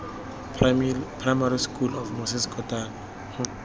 primary school of moses kotane